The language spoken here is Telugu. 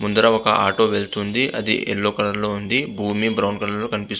ముందర ఒక ఆటో వెళ్తుంది. అది యెల్లో కలర్ లో ఉంది. భూమి బ్రౌన్ కలర్ లో కనిపి--